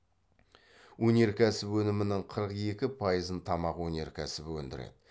өнеркәсіп өнімінің қырық екі пайызын тамақ өнеркөсібі өндіреді